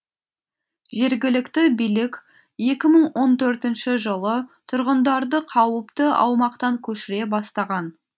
жергілікті билік екі мың он төртінші жылы тұрғындарды қауіпті аумақтан көшіре бастаған